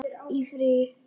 Í frí.